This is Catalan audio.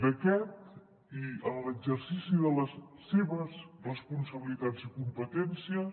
d’aquest i en l’exercici de les seves responsabilitats i competències